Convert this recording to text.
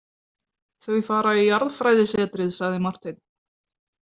Þau fara í jarðfræðisetrið, sagði Marteinn.